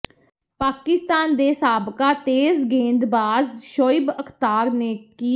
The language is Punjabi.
ਪਾਕਿਸਤਾਨ ਦੇ ਸਾਬਕਾ ਤੇਜ਼ ਗੇਂਦਬਾਜ਼ ਸ਼ੋਇਬ ਅਖ਼ਤਾਰ ਨੇ ਕਿ